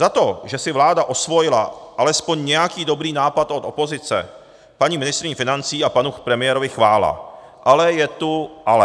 Za to, že si vláda osvojila alespoň nějaký dobrý nápad od opozice, paní ministryni financí a panu premiérovi chvála - ale je tu ale.